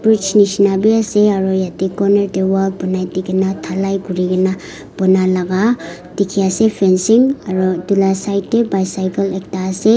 bridge neshina bhi ase aro yateh corner dae wall banai dekhena dhalai kurikena bana laga dekhe ase fencing aro etu la side dae bicycle ekta ase.